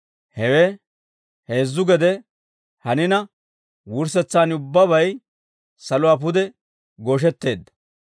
«Hewe heezzu gede hanina, wurssetsaan ubbabay saluwaa pude gooshetteedda.